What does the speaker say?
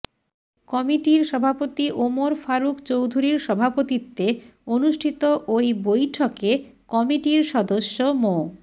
কমিটির সভাপতি ওমর ফারুক চৌধুরীর সভাপতিত্বে অনুষ্ঠিত ওই বৈঠকে কমিটির সদস্য মো